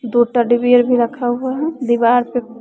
दो teddy bear भी रखा हुआ है दीवार पे--